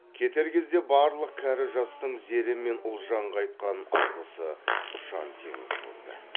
кетер кезде барлық кәрі жастың зере мен ұлжанға айтқан алғысы ұшан теңіз болды